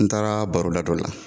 N taara baroda dɔ la